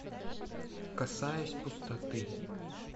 касаясь пустоты